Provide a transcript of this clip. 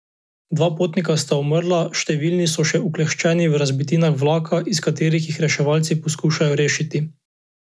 Dva potnika sta umrla, številni so še ukleščeni v razbitinah vlaka, iz katerih jih reševalci poskušajo rešiti.